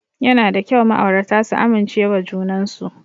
Yana da kyau ma'aurata su amincewa junan su.